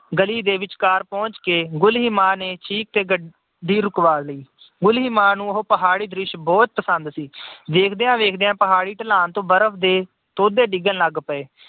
ਗਲੀ ਦੇ ਵਿਚਕਾਰ ਪਹੁੰਚ ਕੇ ਗੁਲੀਮਾਨ ਨੇ ਚਿੱਕ ਕੇ ਗੱਡੀ ਰੁਕਵਾ ਲਈ। ਗੁਲੀਮਾ ਨੂੰ ਉਹ ਪਹਾੜੀ ਦ੍ਰਿਸ਼ ਬਹੁਤ ਪਸੰਦ ਸੀ। ਵੇਖਦਿਆਂ-ਵੇਖਦਿਆਂ ਉਹ ਪਹਾੜੀ ਢਲਾਨ ਤੋਂ ਬਰਫ਼ ਦੇ ਤੋਦੇ ਡਿੱਗਣ ਲੱਗ ਪਏ।